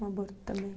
Um aborto também.